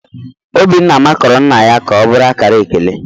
Obinna makụrụ nna ya ka ọ bụrụ akara ekele.